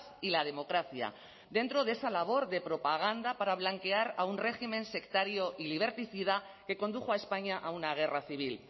y la democracia dentro de esa labor de propaganda para blanquear a un régimen sectario y liberticida que condujo a españa a una guerra civil